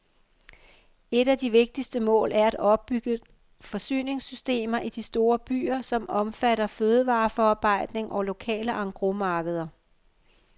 Et af de vigtigste mål er at opbygge forsyningssystemer i de store byer, som omfatter fødevareforarbejdning og lokale engrosmarkeder.